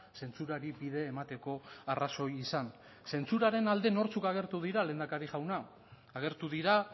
zentsurari bide emateko arrazoi izan zentsuraren alde nortzuk agertu dira lehendakari jauna agertu dira